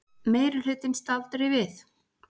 Meirihlutinn staldri við